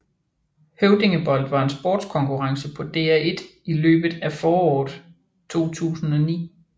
Høvdingebold var en sportskonkurrence på DR1 i løbet af foråret 2009